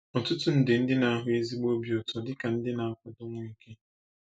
Ọtụtụ nde ndị na-ahụ ezigbo obi ụtọ dị ka ndị na-akwado Nweke.